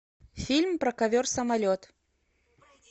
фильм про ковер самолет